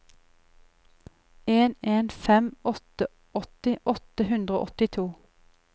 en en fem åtte åtti åtte hundre og åttito